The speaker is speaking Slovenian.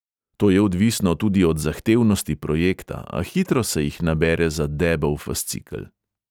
To je odvisno tudi od zahtevnosti projekta, a hitro se jih nabere za debel fascikel.